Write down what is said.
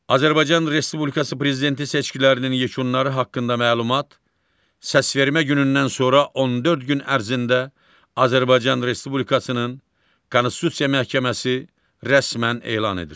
Azərbaycan Respublikası Prezidenti seçkilərinin yekunları haqqında məlumat səsvermə günündən sonra 14 gün ərzində Azərbaycan Respublikasının Konstitusiya Məhkəməsi rəsmən elan edir.